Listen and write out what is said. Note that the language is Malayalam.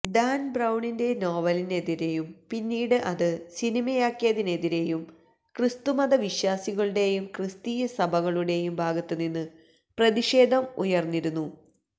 ഡാന് ബ്രൌണിന്റെ നോവലിനെതിരേയും പിന്നീട് അത് സിനിമയാക്കിയതിനെതിരേയും ക്രിസ്തുമത വിശ്വസികളുടേയും ക്രിസ്തീയ സഭകളുടേയും ഭാഗത്ത് നിന്ന് പ്രതിഷേധം ഉയര്ന്നിരുന്നു